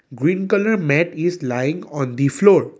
green colour mat is lying on the floor.